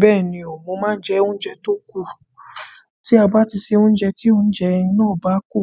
Bẹ́ẹ̀ni o, mo máa ń jẹ oúnjẹ tó kù. Tí a bá ti se oúnjẹ, tí oúnjẹ iná bá kù,